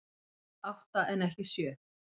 Átta en ekki sjö